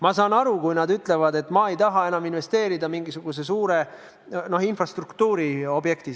Ma saan aru, kui nad ütlevad, et nad ei taha enam investeerida mingisugusesse suurde infrastruktuuri objekti.